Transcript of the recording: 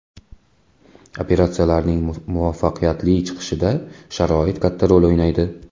Operatsiyalarnining muvaffaqiyatli chiqishida sharoit katta rol o‘ynaydi.